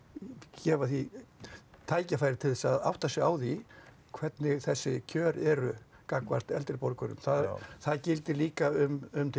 gefa því tækifæri til þess að átta sig á því hvernig þessi kjör eru gagnvart eldri borgurum það gildir líka um til